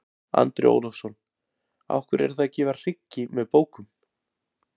Andri Ólafsson: Af hverju eruð þið að gefa hryggi með bókum?